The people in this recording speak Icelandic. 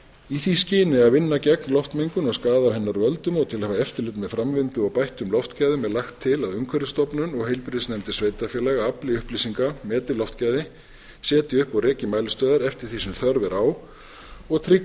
í því skyni að vinna gegn loftmengun og skaða af hennar völdum og til að hafa eftirlit með framvindu og bættum loftgæðum er lagt til að umhverfisstofnun og heilbrigðisnefndir sveitarfélaga afli upplýsinga meti loftgæði setji upp og reki mælistöðvar eftir því sem þörf er á og tryggi að